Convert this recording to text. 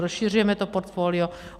Rozšiřujeme to portfolio.